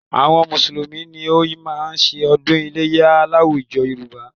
Àwọn Mùsùlùmí ni ó máa ń ṣe ọdún iléyá láwùjọ Yorùbá